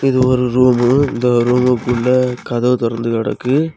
இது ஒரு ரூமு இந்த ரூமுக்குள்ள கதவு திறந்து கடக்கு.